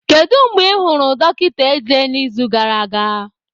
Kedu mgbe ị hụrụ dọkịta eze n'izu gara aga?